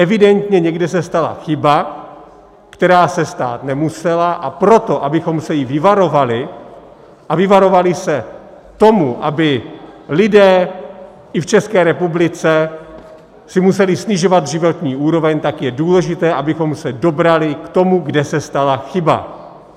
Evidentně někde se stala chyba, která se stát nemusela, a proto, abychom se jí vyvarovali a vyvarovali se toho, aby lidé i v České republice si museli snižovat životní úroveň, tak je důležité, abychom se dobrali k tomu, kde se stala chyba.